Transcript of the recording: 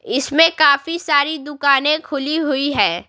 इसमें काफी सारी दुकानें खुली हुई है।